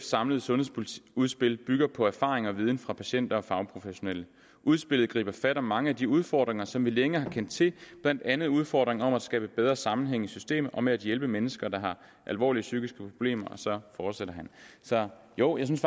samlede sundhedsudspil bygger på erfaringer og viden fra patienter og fagprofessionelle udspillet griber fat om mange af de udfordringer som vi længe har kendt til blandt andet udfordringerne med at skabe bedre sammenhæng i systemet og med at hjælpe mennesker der har alvorlige psykiske problemer og så fortsætter han så jo jeg synes